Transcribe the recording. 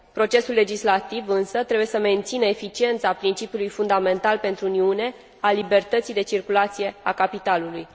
Procesul legislativ, însă, trebuie să mențină eficiența principiului fundamental pentru Uniune, al libertății de circulație a capitalului.